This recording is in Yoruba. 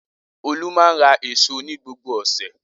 Olú máa ń ra èso ní gbogbo ọ̀sẹ̀.